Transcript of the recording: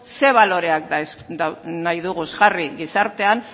zein baloreak nahi dugu jarri gizartean